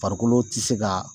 Farikolo tɛ se ka